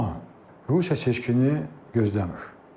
Amma Rusiya seçkini gözləmir.